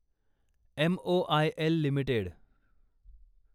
MOIL limited